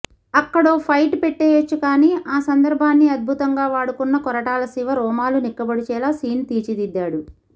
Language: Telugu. అక్కడో ఫైట్ పెట్టేయొచ్చు కాని ఆ సందర్భాన్ని అద్భుతంగా వాడుకున్న కొరటాల శివ రోమాలు నిక్కబొడిచేలా సీన్ తీర్చిదిద్దాడు